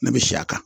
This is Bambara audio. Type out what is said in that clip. Ne bɛ si a kan